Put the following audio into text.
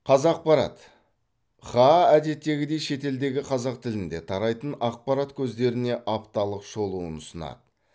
қазақпарат хаа әдеттегідей шетелдегі қазақ тілінде тарайтын ақпарат көздеріне апталық шолуын ұсынады